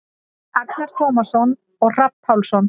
Agnar Tómasson og Hrafn Pálsson.